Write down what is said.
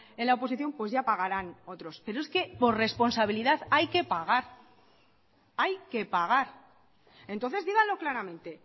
en la oposición pues ya pagarán otros pero es que por responsabilidad hay que pagar hay que pagar entonces díganlo claramente